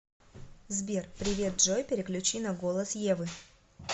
сбер привет джой переключи на голос евы